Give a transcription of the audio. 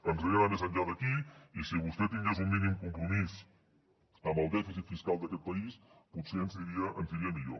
ens agradaria anar més enllà d’aquí i si vostè tingués un mínim compromís amb el dèficit fiscal d’aquest país potser ens aniria millor